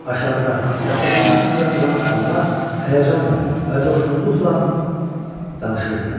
Aşağıda və səki üstündə duran adamlar həyəcanla və coşğunluqla danışırdılar.